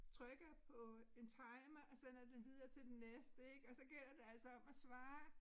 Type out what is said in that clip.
Trykker på en timer og sender den videre til den næste ik og så gælder det altså om at svare